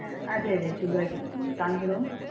അതെ അതെ സുഗെയിറ്റ് ഇരിക്കുന്നു താങ്കളോ